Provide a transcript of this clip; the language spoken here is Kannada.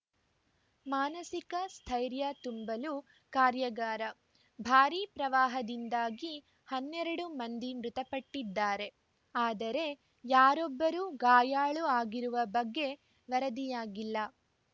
ಮಾನಸಿಕ ಸ್ಥೈರ್ಯ ತುಂಬಲು ಕಾರ್ಯಾಗಾರ ಭಾರಿ ಪ್ರವಾಹದಿಂದಾಗಿ ಹನ್ನೆರಡು ಮಂದಿ ಮೃತಪಟ್ಟಿದ್ದಾರೆ ಆದರೆ ಯಾರೊಬ್ಬರೂ ಗಾಯಾಳು ಆಗಿರುವ ಬಗ್ಗೆ ವರದಿಯಾಗಿಲ್ಲ